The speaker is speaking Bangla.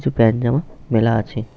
কিছু প্যান্ট জামা মেলা আছে।